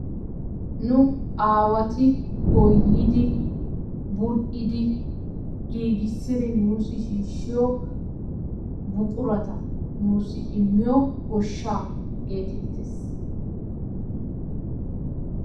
nu aawati goyyidi, bulidi giissidi nuussi shiishiyo buqurata nuusi immiyo goshaa geetettees.